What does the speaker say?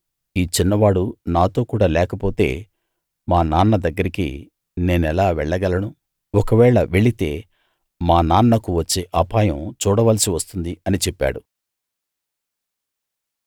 ఈ చిన్నవాడు నాతో కూడ లేకపోతే మా నాన్న దగ్గరికి నేనెలా వెళ్ళగలను ఒకవేళ వెళితే మా నాన్నకు వచ్చే అపాయం చూడవలసి వస్తుంది అని చెప్పాడు